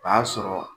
O y'a sɔrɔ